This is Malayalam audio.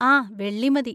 ആ, വെള്ളി മതി.